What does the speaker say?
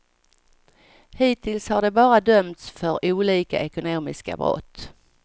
Hittills har de bara dömts för olika ekonomiska brott.